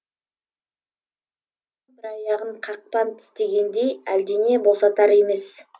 бір аяғын қақпан тістегендей әлдене босатар емес